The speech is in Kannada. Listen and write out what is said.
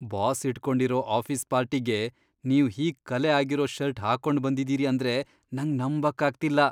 ಬಾಸ್ ಇಟ್ಕೊಂಡಿರೋ ಆಫೀಸ್ ಪಾರ್ಟಿಗೆ ನೀವ್ ಹೀಗ್ ಕಲೆ ಆಗಿರೋ ಷರ್ಟ್ ಹಾಕೊಂಡ್ಬಂದಿದೀರಿ ಅಂದ್ರೆ ನಂಗ್ ನಂಬಕ್ ಆಗ್ತಿಲ್ಲ.